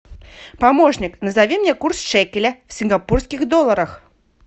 помощник назови мне курс шекеля в сингапурских долларах